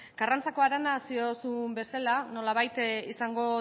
karrantzako harana zuk diozun bezala nolabait izango